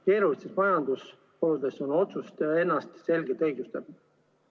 Keerulistes majandusoludes on otsus ennast selgelt õigustanud.